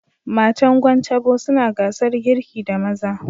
Matan Gwan Tabo suna gasar girki da maza